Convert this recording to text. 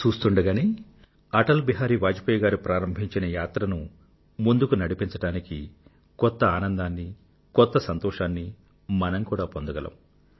చూస్తూండగానే అటల్ గారు ప్రారంభించిన యాత్రను ముందుకు నడిపించడానికి కొత్త ఆనందాన్ని కొత్త సంతోషాన్నీ మనం కూడా పొందగలం